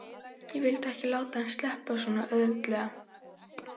Ég vildi ekki láta hann sleppa svona auðveldlega.